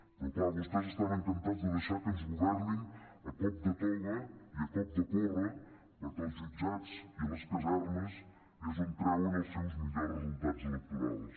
però clar vostès estan encantats de deixar que ens governin a cop de toga i a cop de porra perquè als jutjats i a les casernes és on treuen els seus millors resultats electorals